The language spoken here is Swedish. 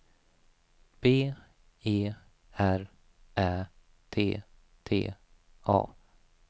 B E R Ä T T A